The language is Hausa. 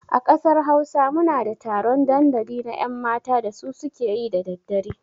A ƙasar Hausa muna da taron ɗandali na 'yanmata da su ke yi da daddare.